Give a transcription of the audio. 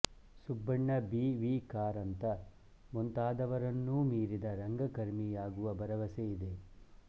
Subbanna B V Karanth ಮುಂತಾದವರನ್ನೂ ಮೀರಿದ ರಂಗಕರ್ಮಿಯಾಗುವ ಭರವಸೆ ಇದೆ